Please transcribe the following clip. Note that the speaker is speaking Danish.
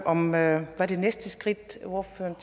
om hvad der er det næste skridt ordføreren